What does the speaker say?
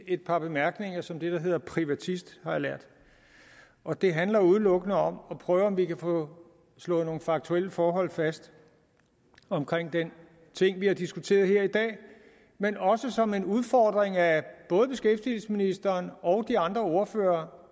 et par bemærkninger som det der hedder privatist har jeg lært og det handler udelukkende om at prøve om vi kan få slået nogle faktuelle forhold fast omkring den ting vi har diskuteret her i dag men også som en udfordring af både beskæftigelsesministeren og de andre ordførere